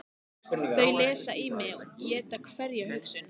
Þau lesa í mig, éta hverja hugsun.